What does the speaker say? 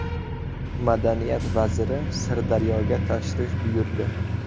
Madaniyat vaziri Sirdaryoga tashrif buyurdi.